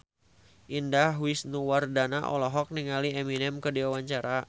Indah Wisnuwardana olohok ningali Eminem keur diwawancara